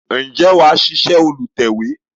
Ǹjẹ́ wà ṣíṣe olùtẹ̀we?